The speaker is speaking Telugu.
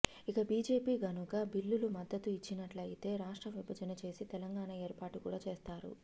ఇక బీజేపీ గనుక బిల్లుకి మద్దతు ఇచ్చినట్లయితే రాష్ట్ర విభజన చేసి తెలంగాణా ఏర్పాటు కూడా చేస్తారు